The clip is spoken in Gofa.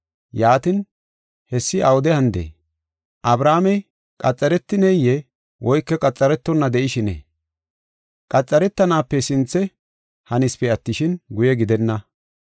Yaatin, hessi awude hanidee? Abrahaamey qaxaretineyee? Woyko qaxaretona de7ishinee? Qaxaretanaape sinthe hanisipe attishin, guye gidenna.